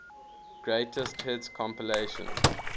greatest hits compilation